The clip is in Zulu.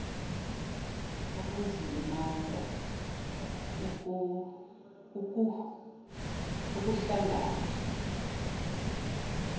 ukuzilimaza ukuh langana